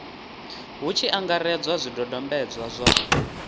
hu tshi angaredzwa zwidodombedzwa zwa